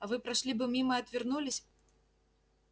а вы прошли бы мимо и отвернулись